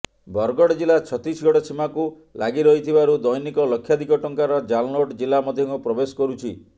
ବରଗଡ଼ ଜିଲ୍ଲା ଛତିଶଗଡ଼ ସୀମାକୁ ଲାଗି ରହିଥିବାରୁ ଦୈନିକ ଲକ୍ଷାଧିକ ଟଙ୍କାର ଜାଲନୋଟ୍ ଜିଲ୍ଲା ମଧ୍ୟକୁ ପ୍ରବେଶ କରୁଛି